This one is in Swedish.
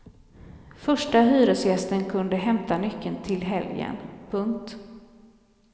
Första hyresgästen kunde hämta nyckeln till helgen. punkt